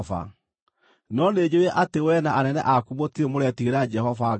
No nĩnjũũĩ atĩ wee na anene aku mũtirĩ mũretigĩra Jehova Ngai.”